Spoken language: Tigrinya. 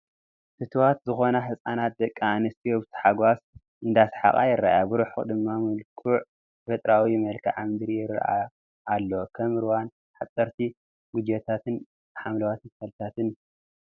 ፍትዋት ዝኾና ህፃናት ደቂ ኣንስትዮ ብታሕጓስ እንዳሳሓቓ ይራኣያ፡፡ ብሩሑቕ ድማ መልኩዕ ተፈጥራኣዊ መልክኣ ምድሪ ይራኣይ ኣሎ፡፡ ከም ሩባን ሓፀርቲ ኩጀታትን ሓምለዎት ተኽልታትን፡፡